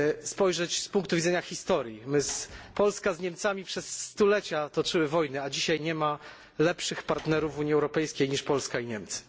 spojrzeć z punktu widzenia historii. Polska z Niemcami przez stulecia toczyły wojny, a dzisiaj nie ma lepszych partnerów w Unii Europejskiej niż Polska i Niemcy.